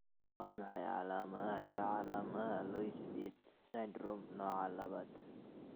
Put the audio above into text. Waa maxay calaamadaha iyo calaamadaha Loeys Dietz syndrome nooca labad?